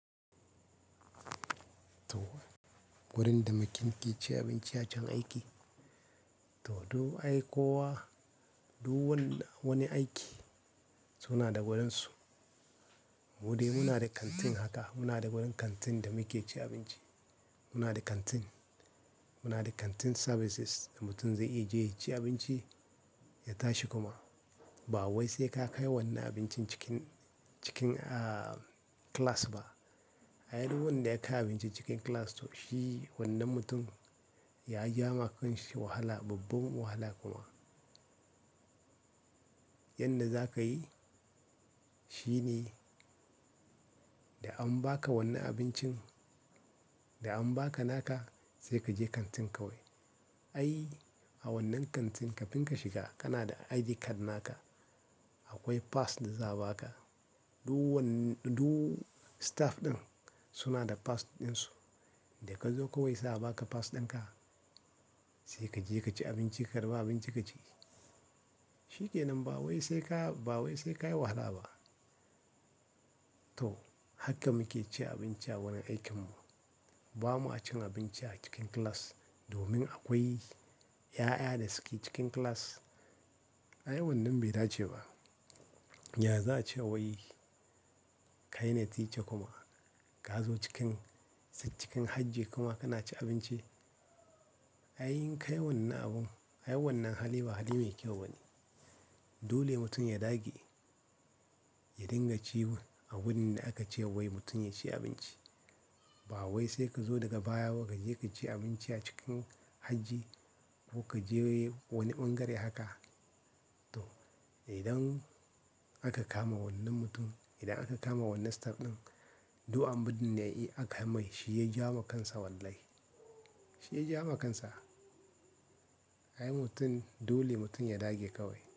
Toh! Wurin da mutum ke ci abinci a can aiki. To duk ai kowa, duk wani aiki suna da wurinsu. Mu dai muna da kantin haka. Muna da wurin kantin da muke ci abinci. Muna da kantin, muna da canteen services da mutum zai iya je ya ci abinci, ya tashi kuma. Ba wai sai ka kai wannan abincin cikin, cikin ah class ba. Ai duk wanda ya kai abinci cikin class to shi wannan mutum ya ja wa kanshi wahala, babba wahala kuma. Yanda zaka yi shine, da an baka wannan abincin, da an baka naka sai kaje kantin kawai. Ai a wannan kantin ka finka shiga kana da ID card naka. Akwai pass da za a baka. Duk wani, duk staff ɗin suna da pass ɗinsu. Da ka zo kawai za a baka pass dinka sai kaje kaci abinci, karba abinci kaci. Shi kenan ba wai sai ka, ba wai sai ka yi wahala ba. To haka muke ci abinci a wurin aikin mu. Ba ma cin abinci a cikin class domin akwai 'ya'ya da suke cikin class. Ai wannan bai dace ba. Ya za a ce wai kai na teacher kuma ka zo cikin, cikin aji kuma kana ci abinci. Ai yin kai wannan abun, ai wannan hali ba hali mai kyau bane. Dole mutum ya dage, ya dinga ci wurin a wurin da aka ce wai mutum ya ci abinci. Ba wai sai ka zo daga baya, waka je kaci abinci a cikin hajji ko ka je wani ɓangare haka. To idan aka kama wannan mutum, idan aka kama wannan staff ɗin duk amfani da ya iya aka mai shi ya ja wa kansa wallahi. Shi ya ja wa kansa. Ai mutum, dole mutum ya dage kawai.